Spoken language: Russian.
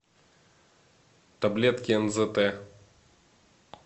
таблетки нзт